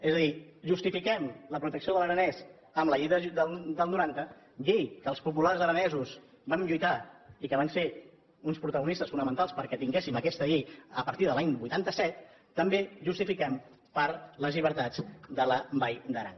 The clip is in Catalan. és a dir justifiquem la protecció de l’aranès amb la llei del noranta llei en què els populars aranesos vam lluitar i vam ser uns protagonistes fonamentals perquè tinguéssim aquesta llei a partir de l’any vuitanta set també la justifiquem per les llibertats de la vall d’aran